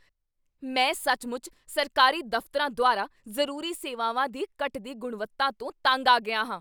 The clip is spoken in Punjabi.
ਮੈਂ ਸੱਚਮੁੱਚ ਸਰਕਾਰੀ ਦਫ਼ਤਰਾਂ ਦੁਆਰਾ ਜ਼ਰੂਰੀ ਸੇਵਾਵਾਂ ਦੀ ਘਟਦੀ ਗੁਣਵੱਤਾ ਤੋਂ ਤੰਗ ਆ ਗਿਆ ਹਾਂ।